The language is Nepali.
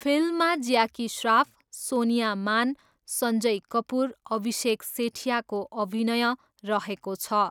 फिल्ममा ज्याकी श्राफ, सोनिया मान, सन्जय कपुर, अभिषेक सेठियाको अभिनय रहेको छ।